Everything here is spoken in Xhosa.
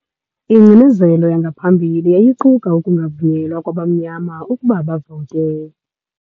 Ingcinezelo yangaphambili yayiquka ukungavunyelwa kwabamnyama ukuba bavote.